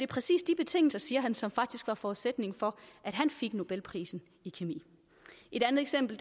præcis de betingelser siger han som faktisk var forudsætningen for at han fik nobelprisen i kemi et andet eksempel